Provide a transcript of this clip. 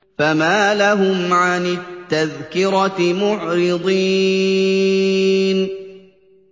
فَمَا لَهُمْ عَنِ التَّذْكِرَةِ مُعْرِضِينَ